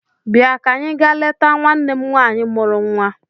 Bịa ka anyị ga leta nwanne m nwaanyị mụrụ nnwa!